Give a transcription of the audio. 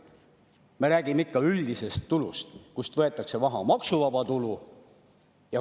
Me räägime ikka üldisest tulust, kust võetakse maha maksuvaba tulu.